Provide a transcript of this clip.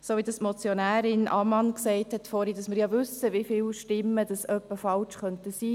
Wie Motionärin Ammann gesagt hat, wissen wir ja, wieviele Stimmen ungefähr ungültig sein könnten.